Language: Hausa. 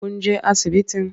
Kun je asibitin?